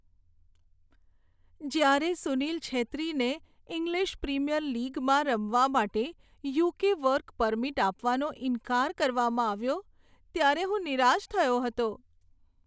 જ્યારે સુનીલ છેત્રીને English premier લીગમાં રમવા માટે યુ.કે. વર્ક પરમિટ આપવાનો ઈનકાર કરવામાં આવ્યો ત્યારે હું નિરાશ થયો હતો.